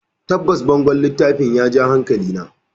Tabbas, bangon littafin ya ja hankalina.